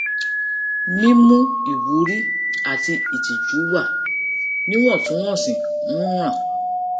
mímú ìwúrí àti ìtìjú wà níwọ̀ntúnwọ̀nsì ń ràn